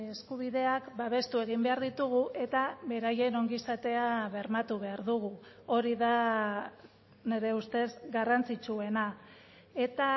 eskubideak babestu egin behar ditugu eta beraien ongizatea bermatu behar dugu hori da nire ustez garrantzitsuena eta